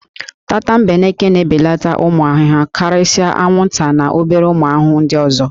Tatambeneke na-ebeleta ụmụ ahụhụ karịsịa anwụnta na obere ụmụ ahụhụ nd ọzọ